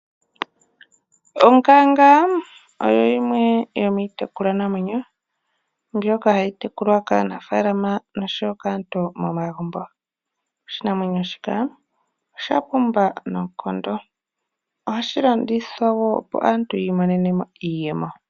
Onkanga oyo yimwe yo miitekulwa namwenyo mbyoka hayi tekulwa kaanafaalama noshowo kaantu momagumbo . Oshinamwenyo shika osha pumba noonkondo . Ohashi landithwa woo opo aatu yi imonenemo iiyemo